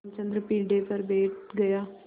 रामचंद्र पीढ़े पर बैठ गया